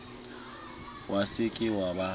wa se ke wa ba